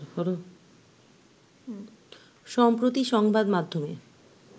সম্প্রতি সংবাদমাধ্যমে